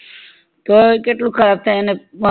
તો કેટલું ખરાબ થાય ને